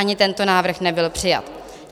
Ani tento návrh nebyl přijat.